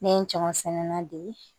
Ne ye n caman sɛnɛnna de ye